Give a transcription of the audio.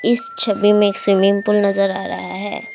इस छवि मै एक स्विमिंग पूल नजर आ रहा है।